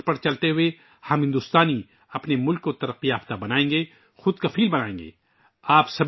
اس منتر پر عمل کرتے ہوئے ہم ہندوستانی اپنے ملک کو ترقی یافتہ اور خود انحصار بنائیں گے